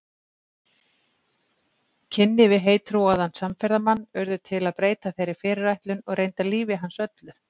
Kynni við heittrúaðan samferðamann urðu til að breyta þeirri fyrirætlun og reyndar lífi hans öllu.